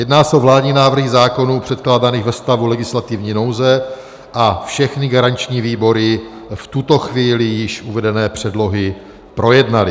Jedná se o vládní návrhy zákonů předkládaných ve stavu legislativní nouze a všechny garanční výbory v tuto chvíli již uvedené předlohy projednaly.